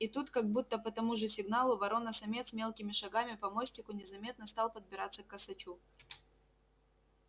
и тут как будто по тому же сигналу ворона-самец мелкими шагами по мостику незаметно стал подбираться к косачу